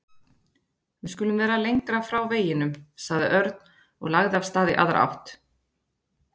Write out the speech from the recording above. Við skulum vera lengra frá veginum sagði Örn og lagði af stað í aðra átt.